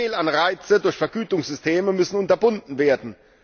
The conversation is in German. Fehlanreize durch Vergütungssysteme müssen unterbunden werden